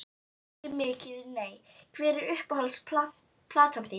Ekki mikið nei Hver er uppáhalds platan þín?